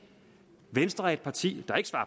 venstre er et parti